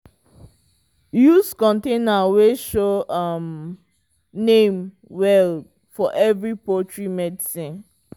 use container wey show um name well for every poultry medicine.